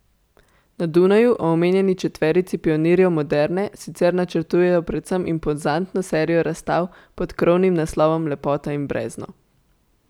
Na Dunaju o omenjeni četverici pionirjev moderne sicer načrtujejo predvsem impozantno serijo razstav pod krovnim naslovom Lepota in brezno.